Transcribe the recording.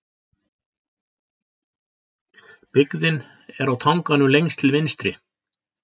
Byggðin er á tanganum lengst til vinstri.